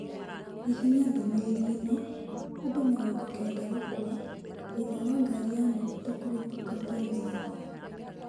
Hihinya ndomereriri eno : Andũ mĩrogo kenda gũkua thutha wa ngari ya maguta kũlũpuka Tanzania